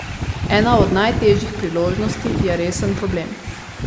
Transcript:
Ena od najtežjih priložnosti je resen problem.